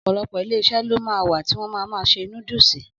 Ọ̀pọ̀lọpọ̀ Iléeṣẹ́ ló ma wà tí wọ́n ma ma ṣe núdúsì